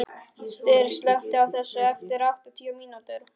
Styr, slökktu á þessu eftir áttatíu mínútur.